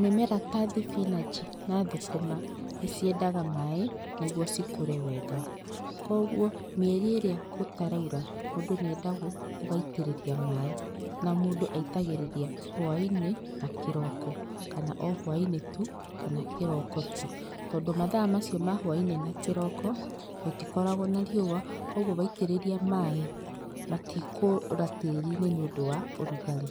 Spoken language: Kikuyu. Mĩmera ta thibinachi na thũkũma nĩciendaga maĩ nĩguo cikũrĩ wega, kwoguo mĩeri ĩria gũtaraura mũndũ nĩendagwo ũgaitĩriria maĩ na mũndũ aitagĩrĩria hwaĩinĩ na kĩroko kana ohwaĩnĩ tu kana kĩroko tu, tondũ mathaa macio ma hwaĩinĩ na kĩroko, gũtikoragwo na riũa kwoguo waitĩrĩria maĩ matikũra tĩriinĩ nĩ ũndũ wa ũrugarĩ.